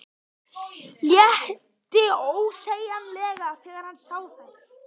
Létti ósegjanlega þegar hann sá þær.